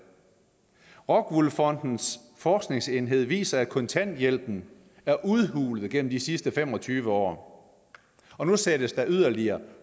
rockwool fondens forskningsenhed viser at kontanthjælpen er udhulet gennem de sidste fem og tyve år og nu sættes der yderligere